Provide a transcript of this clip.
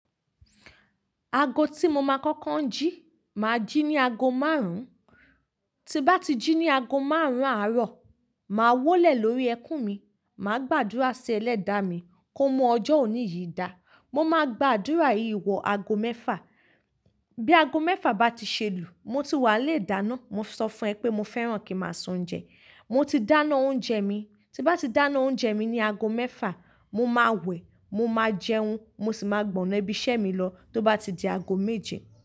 Aago tí mo máa kọ́kọ́ ń jí, mà á jí ní aago márùn-ún, tí bá ti jí ní aago márùn-ún àárọ̀, mà á wólẹ̀ lórí ẹkún mi, mà á gbàdúrà sí Ẹlẹ́dàá mi kó mú ọjọ́ òní yìí dá, mo máa gbàdúrà yìí wọ aago mẹ́fà. Bí aago mẹ́fà bá ti ṣelu, mo ti wà lé ìdáná, mo ń sọ fún ẹ pé mo fẹ́ràn kí n máa sún oúnjẹ, mo ti dáná oúnjẹ mi, tí bá ti dáná oúnjẹ mi ní aago mẹ́fà, mo máa wẹ̀, mo máa jẹun, mo sì máa gbọ̀nà ibi iṣẹ́ mi lọ tó bá ti di aago méje.